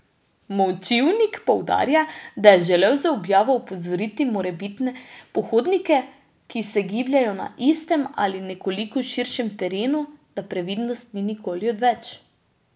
Močivnik poudarja, da je želel z objavo opozoriti morebitne pohodnike, ki se gibljejo na istem ali nekoliko širšem terenu, da previdnost ni nikoli odveč.